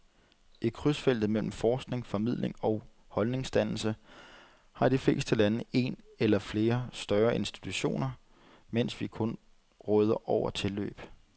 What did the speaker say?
I krydsfeltet mellem forskning, formidling og holdningsdannelse har de fleste lande en eller flere større institutioner, mens vi kun råder over tilløb.